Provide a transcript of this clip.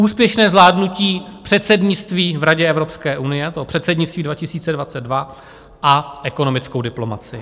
úspěšné zvládnutí předsednictví v Radě Evropské unie - to předsednictví 2022; a ekonomickou diplomacii.